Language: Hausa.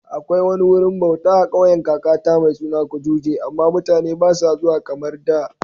Akwai wani wurin bauta a kauyen kakata mai suna Kujuje, amma mutane ba sa zuwa kamar da